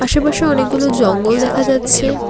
আশেপাশে অনেকগুলো জঙ্গল দেখা যাচ্ছে।